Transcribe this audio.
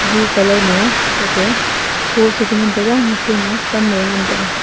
blue colour ma tatey post e chengan taiga mishe ma pan e ngan taiga.